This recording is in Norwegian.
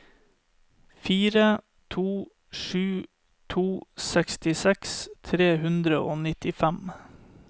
fire to sju to sekstiseks tre hundre og nittifem